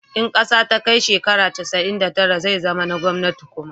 in ƙasa ta kai shekara casa'in da tara zai zama na gwamnati kuma